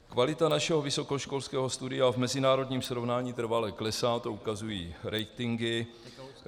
Kvalita našeho vysokoškolského studia v mezinárodním srovnání trvale klesá, to ukazují ratingy.